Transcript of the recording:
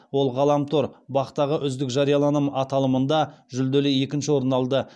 ол ғаламтор бақ тағы үздік жарияланым аталымында жүлделі екінші орын алды